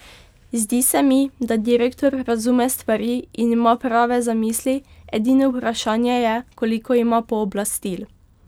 Zdi se mi, da direktor razume stvari in ima prave zamisli, edino vprašanje je, koliko ima pooblastil.